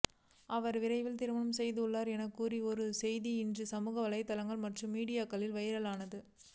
அவர் விரைவில் திருமணம் செய்யவுள்ளார் என கூறி ஒரு செய்தி இன்று சமூக வலைத்தளங்கள் மற்றும் மீடியாகளில் வைரலானது